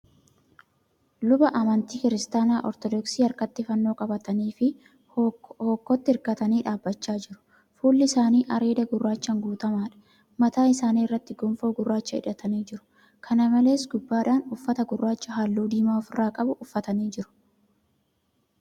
Luba amantii Kiristaanaa Ortoodoksii harkatti fannoo qabataniifi hookkootti hirkatanii dhaabachaa jiru. Fuulli isaanii areeda gurraachan guutamaadha. Mataa isaanii irratti gonfoo gurraacha hidhatanii jiru. Kana malees, gubbaadhaan uffata gurraacha halluu diimaa ofirraa qabu uffatanii jiru.